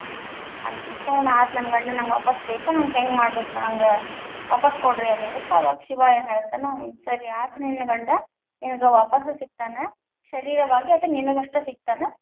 ಅಂತ ಅಂದುಕೊಳ್ಳೆ ಆತ ನನ್ನ ಗಂಡ ನನಗ ವಾಪಸ್ ಬೇಕ ನನಗ ಹೆಂಗ ಮಾಡಬೇಕ ನಂಗ ವಾಪಸ್ ಕೊಡ್ರಿ ಅಂದಿದ್ದಕ್ಕ ಅವಾಗ್ ಶಿವಾ ಏನ್ ಹೇಳ್ತಾನ‌, ಹ್ಮ್, ಸರಿ ಆತ್ ನಿನ್ ಗಂಡ ನಿನಗ ವಾಪಸ್ ಸಿಕ್ತಾನ ಶರೀರವಾಗಿ ಅದ ನಿನಗಷ್ಟ ಸಿಕ್ತಾನ.